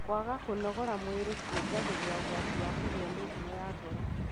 kwaga kũnogora mwĩri kũongagĩrĩra ũgwati wa kũgĩa mĩrimũ ya ngoro.